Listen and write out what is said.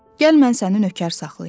Gəl mən səni nökər saxlayım.